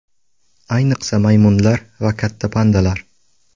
Ayniqsa maymunlar va katta pandalar.